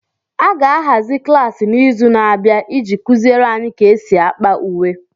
A ga-ahazi klaasị n'izu na-abịa iji kuziere anyị ka e si ákpà uwe.